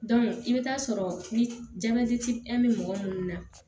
i bɛ taa sɔrɔ ni bɛ mɔgɔ minnu na